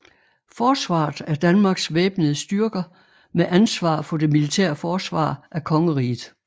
Forsvaret er Danmarks væbnede styrker med ansvar for det militære forsvar af kongeriget